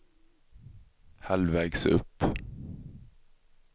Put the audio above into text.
halvvägs upp